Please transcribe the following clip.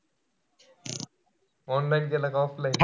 Online केलं का offline?